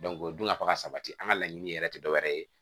o dun ka fa ka sabati an ka laɲini yɛrɛ tɛ dɔ wɛrɛ ye